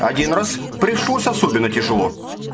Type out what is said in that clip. один раз пришлось особенно тяжело